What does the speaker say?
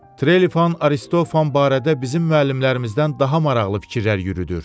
Trelifan Aristofan barədə bizim müəllimlərimizdən daha maraqlı fikirlər yürüdür.